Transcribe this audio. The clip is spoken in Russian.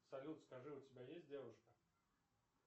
салют скажи у тебя есть девушка